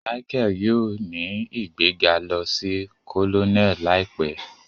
Michael yóò ní igbega lò sí Colonel láìpé